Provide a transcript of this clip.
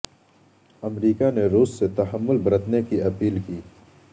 امریکہ نے روس سے تحمل برتنے کی اپیل کی